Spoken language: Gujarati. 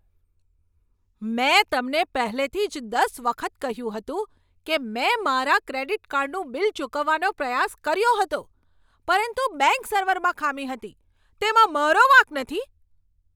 મેં તમને પહેલેથી જ દસ વખત કહ્યું હતું કે મેં મારા ક્રેડિટ કાર્ડનું બિલ ચૂકવવાનો પ્રયાસ કર્યો હતો, પરંતુ બેંક સર્વરમાં ખામી હતી. તેમાં મારો વાંક નથી!